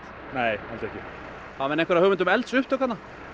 nei ég held ekki hafa menn einhverja hugmynd um eldsupptök